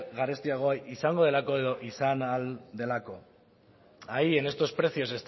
garestiago izango delako edo izan ahal delako ahí en estos precios